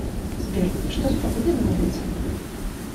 сбер что с погодой на улице